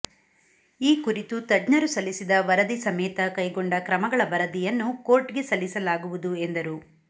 ಈ ಕುರಿತು ತಜ್ಞರು ಸಲ್ಲಿಸಿದ ವರದಿ ಸಮೇತ ಕೈಗೊಂಡ ಕ್ರಮಗಳ ವರದಿಯನ್ನು ಕೋರ್ಟ್ಗೆ ಸಲ್ಲಿಸಲಾಗುವುದು ಎಂದರು